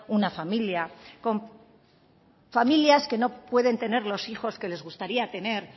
una familia con familias que no pueden tener los hijos que les gustaría tener